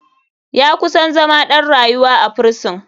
Ya kusan zama ɗan rayuwa a firison.